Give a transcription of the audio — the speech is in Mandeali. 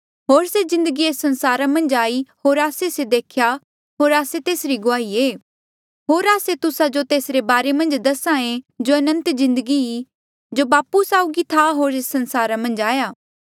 होर से जिन्दगी एस संसारा मन्झ आई होर आस्से से देख्या होर आस्से तेसरी गुआही ऐें होर आस्से तुस्सा जो तेसरे बारे मन्झ दसा ऐें जो अनंत जिन्दगी ई जो बापू साउगी था होर एस संसारा मन्झ आया